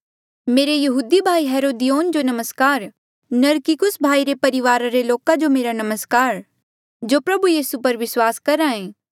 मेरी यहूदी भाई हेरोदियोन जो नमस्कार नरकिस्सुस भाई रे परिवारा रे लोक जो मेरा नमस्कार जो प्रभु यीसू पर विस्वास करहे